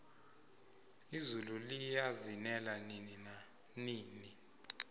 izulu liyazinela nini nanini